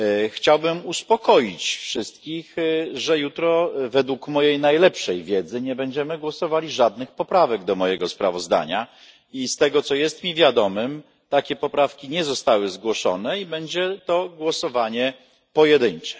Chciałbym uspokoić wszystkich, że jutro według mojej najlepszej wiedzy nie będziemy głosowali żadnych poprawek do mojego sprawozdania i z tego, co jest mi wiadomym, takie poprawki nie zostały zgłoszone i będzie to głosowanie pojedyncze.